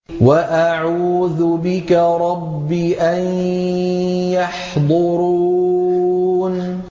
وَأَعُوذُ بِكَ رَبِّ أَن يَحْضُرُونِ